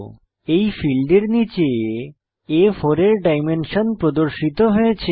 এই ফীল্ডের নীচে আ4 এর ডাইমেনশন প্রদর্শিত হয়েছে